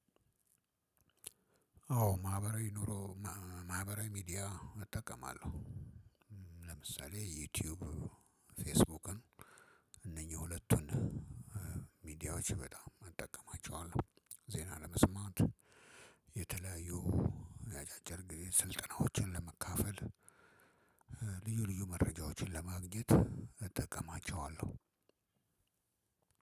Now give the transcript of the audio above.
አዎ ማህበራዊ ኑሮ ማህበራዊ ሚዲያ እጠቀማለሁ። ለምሳሌ ዩቲዩብ ፌስቡክን እነኚህ ሁለቱን ሚዲያዎች በጣም እጠቀማቸዋለሁ። ዜና ለመስማት የተለያዩ የአጫጭር ጊዜ ስልጠናዎችን ለመካፈል። ልዩ ልዩ መረጃዎችን ለማግኘት እጠቀማቸዋለሁ።